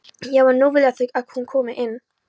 Já en nú vilja þau að hún komi